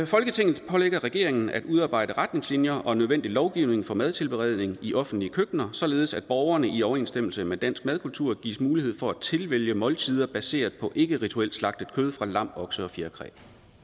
folketinget pålægger regeringen at udarbejde retningslinjer og nødvendig lovgivning for madtilberedning i offentlige køkkener således at borgerne i overensstemmelse med dansk madkultur gives mulighed for at tilvælge måltider baseret på ikkerituelt slagtet kød fra lam okse og fjerkræ